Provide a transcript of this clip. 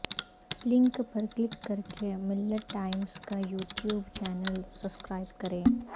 link پر click کرکے Millat Times کا یوٹیوب چینل سسکرائب کریں